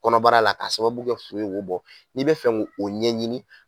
Kɔnɔbara la ka sababu kɛ bɔ n'i bɛ fɛ k'o ɲɛɲini